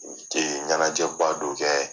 ɲanajɛ ba dɔ kɛ.